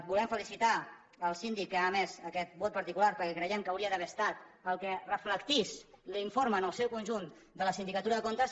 volem felicitar el síndic que ha emès aquest vot particular perquè creiem que hauria d’haver estat el que reflectís l’informe en el seu conjunt de la sindicatura de comptes